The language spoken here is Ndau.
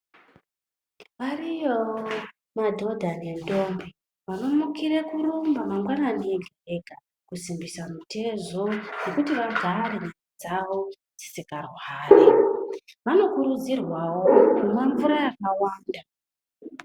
Ariyowo madhodha nendombi, vanomukire kuramba mangwanani ega-ega, kusimbisa mitezo nekuti vagare nyama dzavo dzisikarwari. Vanokurudzirwawo kumwa mvura yakawanda.